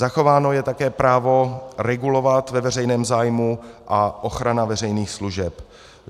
Zachováno je také právo regulovat ve veřejném zájmu a ochrana veřejných služeb.